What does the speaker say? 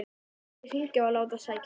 Nú skal ég hringja og láta sækja hann.